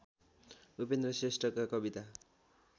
उपेन्द्र श्रेष्ठका कविता